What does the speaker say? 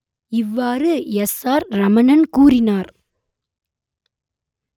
இவ்வாறு S R Ramanan கூறினார்